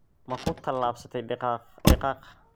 Ma ku tallaabsatay digaag digaag?